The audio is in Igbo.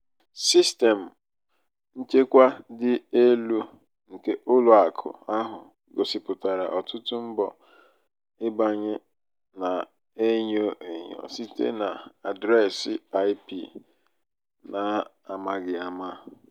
sistemụ nchekwa dị elu nke ụlọ akụ ahụ gosipụtara ọtụtụ mbọ nbanye na-enyo enyo site na adreesị ip na-amaghị ama.